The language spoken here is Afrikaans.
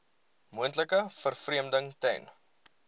moontlike vervreemding ten